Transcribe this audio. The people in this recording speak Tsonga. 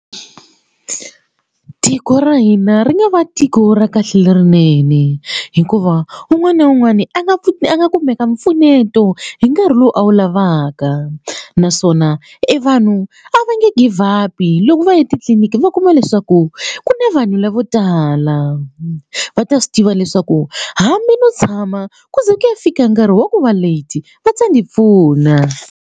Tiko ra hina ri nga va tiko ra kahle lerinene hikuva un'wana na un'wana a nga a nga kumeka mpfuneto hi nkarhi lowu a wu lavaka naswona e vanhu a va nge give up i loko va ya etitliniki va kuma leswaku ku na vanhu lavo tala va ta swi tiva leswaku hambi no tshama ku ze ku ya fika nkarhi wa ku va late va ta ndzi pfuna.